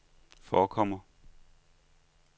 forekommer